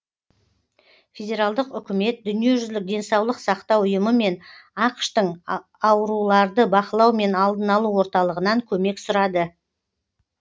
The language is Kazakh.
федералдық үкімет дүниежүзілік денсаулық сақтау ұйымы мен ақш тың ауруларды бақылау мен алдын алу орталығынан көмек сұрады